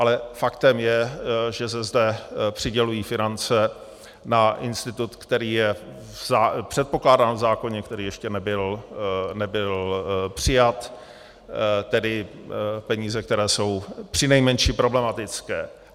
Ale faktem je, že se zde přidělují finance na institut, který je předpokládán v zákoně, který ještě nebyl přijat, tedy peníze, které jsou přinejmenším problematické.